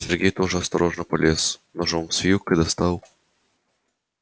сергей тоже осторожно полез ножом с вилкой достал